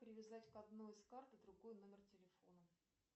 привязать к одной из карт другой номер телефона